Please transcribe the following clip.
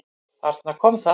Þarna kom það!